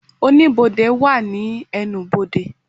Oníbodè wà ní ẹnubodè